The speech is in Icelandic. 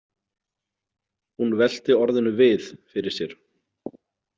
Hún velti orðinu við fyrir sér.